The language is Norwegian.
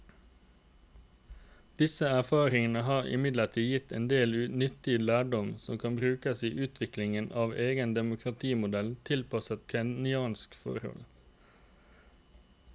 Disse erfaringene har imidlertid gitt en del nyttig lærdom som kan brukes i utviklingen av en egen demokratimodell tilpasset kenyanske forhold.